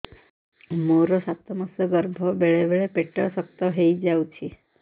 ମୋର ସାତ ମାସ ଗର୍ଭ ବେଳେ ବେଳେ ପେଟ ଶକ୍ତ ହେଇଯାଉଛି